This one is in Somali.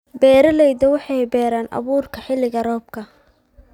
Beeraleydu waxay beeraan abuurka xilliga roobka.